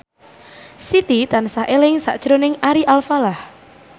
Siti tansah eling sakjroning Ari Alfalah